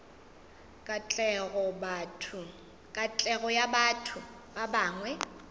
katlego ya batho ba bangwe